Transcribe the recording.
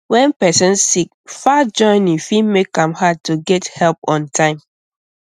when person sick far journey fit make am hard to get help on time